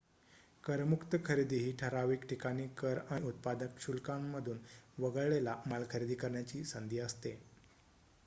करमुक्त खरेदी ही ठराविक ठिकाणी कर आणि उत्पादन शुल्कांमधून वगळलेला माल खरेदी करण्याची संधी असते